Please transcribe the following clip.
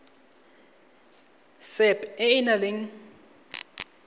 sap e e nang le